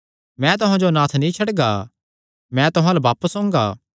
मैं तुहां जो अनाथ नीं छड्डगा मैं तुहां अल्ल बापस ओंगा